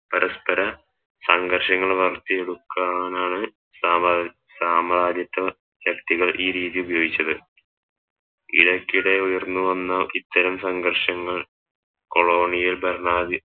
പരസ്പര സംഘർഷങ്ങൾ വളർത്തിയെടുക്കാനാണ് സാമ സാമ്രാജത്യ ശാക്തികൾ ഈ രീതിയിൽ ഉപയോഗിക്കിച്ചത് ഇടക്കിടെ ഉയർന്നു വന്ന ഇത്തരം സംഘർഷങ്ങൾ colonial ഭരണാധി